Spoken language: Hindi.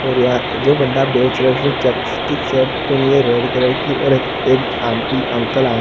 और यार जो बंदा बेच रहा उसने चेक्स की शर्ट पहनी है रेड कलर की और एक आंटी अंकल आए।